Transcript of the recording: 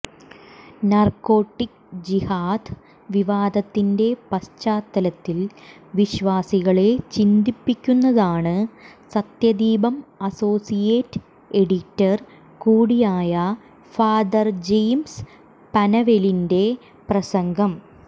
narcotic ജിഹാദ് വിവാദത്തിന്റെ പശ്ചാത്തലത്തിൽ വിശ്വാസികളെ ചിന്തിപ്പിക്കുന്നതാണ് സത്യദീപം അസോസിയേറ്റ് എഡിറ്റർ കൂടിയായ ഫാദർ ജെയിംസ് പനവേലിന്റെ പ്രസംഗം